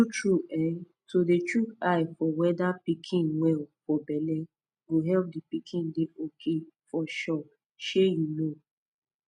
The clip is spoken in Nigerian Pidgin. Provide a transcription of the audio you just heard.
tru tru eh to dey shook eye for weda pikin well for belle go epp d pikin dey ok for sure shey you know